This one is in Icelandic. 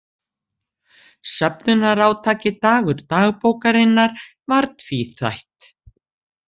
Söfnunarátakið Dagur dagbókarinnar var tvíþætt.